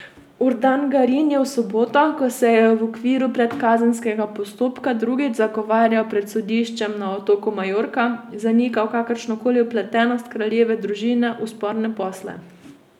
Urdangarin je v soboto, ko se je v okviru predkazenskega postopka drugič zagovarjal pred sodiščem na otoku Majorka, zanikal kakršnokoli vpletenost kraljeve družine v sporne posle.